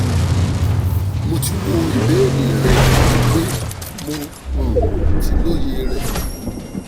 mo ti wo ìbéèrè rẹ ati pe mo um ti lóye rẹ